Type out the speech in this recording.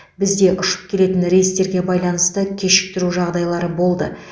бізде ұшып келетін рейстерге байланысты кешіктіру жағдайлары болды